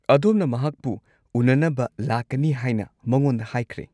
ꯑꯗꯣꯝꯅ ꯃꯍꯥꯛꯄꯨ ꯎꯅꯅꯕ ꯂꯥꯛꯀꯅꯤ ꯍꯥꯏꯅ ꯃꯉꯣꯟꯗ ꯍꯥꯏꯈ꯭ꯔꯦ꯫